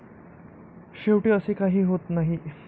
शेवटी असे काही होत नाही.